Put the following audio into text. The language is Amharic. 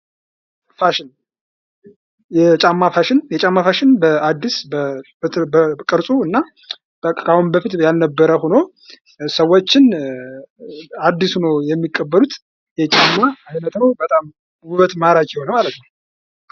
ፋሽን የጫማ ፋሽን የጫማ ፋሽን በአዲስ በቅርፁና ከአሁን በፊት ያልነበረ ሁኖ ሰዎችም አዲስ ሁነው የሚቀበሉት የጫማ አይነት ነው። በጣም ውበቱ ማራኪ የሆነ ማለት ነው።